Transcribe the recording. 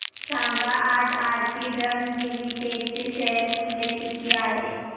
सांगा आज Aarti drugs limited चे शेअर मूल्य किती आहे